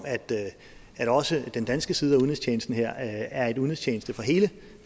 at også den danske side af udenrigstjenesten her er en udenrigstjeneste for hele